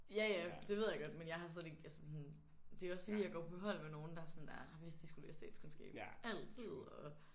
Ja ja det ved jeg godt men jeg har slet ikke altså sådan det er også fordi jeg går på hold med nogle der sådan er har vidst de skulle læse statskundskab altid og